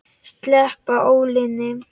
Sleppa ólinni.